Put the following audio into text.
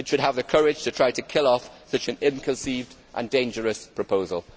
It should have the courage to try and kill off such an ill conceived and dangerous proposal.